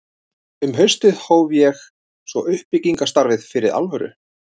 Um haustið hóf ég svo uppbyggingarstarfið fyrir alvöru.